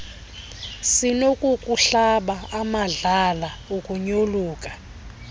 sinokukuhlaba amadlala ukunyoluka